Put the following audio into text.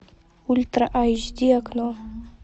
ультра айч ди окно